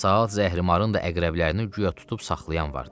Saat zəhrimarın da əqrəblərini guya tutub saxlayan vardı.